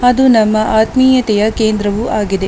ಅದು ನಮ್ಮ ಆತ್ಮೀಯತೆಯ ಕೇಂದ್ರವು ಆಗಿದೆ.